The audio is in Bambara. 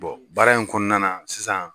baara in kɔnɔna na sisan.